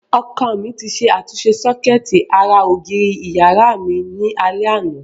Ọkọ mi ti ṣe àtúnṣe sọ́kẹ́ẹ̀tì ara ògiri ìyàrá mi ní alẹ́ àná.